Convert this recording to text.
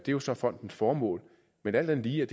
jo så fondens formål men alt andet lige er